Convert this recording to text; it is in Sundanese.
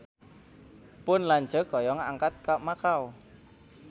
Pun lanceuk hoyong angkat ka Makau